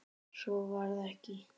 Svo varð ekki.